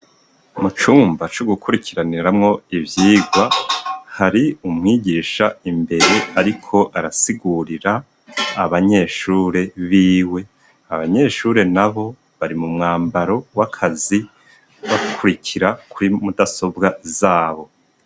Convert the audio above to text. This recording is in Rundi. Mu cumba co gukurikiraniramwo ivyigwa hari umwigisha imbere ariko arasigurira abanyeshure biwe, abanyeshure nabo bari mu mwambaro w'akazi bakurikira kuri mudasobwa zabo.